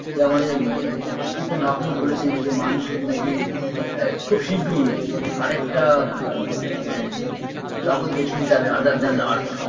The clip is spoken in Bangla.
যা আমাদের আ স্টিফেন্স হকিন্স বলেছেন যে মানুষকে নাকি আ খুব শীঘৃ আরেকটা উ মানে জগৎ বেছে নিতে হবে other than earth